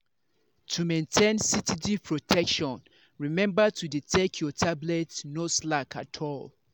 to maintain steady protection remember to dey take your tablet no slack at all.